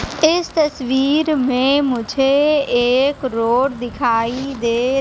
इस तस्वीर में मुझे एक रोड दिखाई दे--